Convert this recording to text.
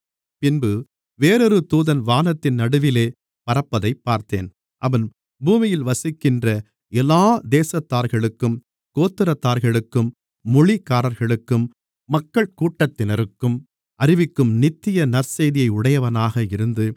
பின்பு வேறொரு தூதன் வானத்தின் நடுவிலே பறப்பதைப் பார்த்தேன் அவன் பூமியில் வசிக்கின்ற எல்லா தேசத்தார்களுக்கும் கோத்திரத்தார்களுக்கும் மொழிக்காரர்களுக்கும் மக்கள்கூட்டத்தினருக்கும் அறிவிக்கும் நித்திய நற்செய்தியை உடையவனாக இருந்து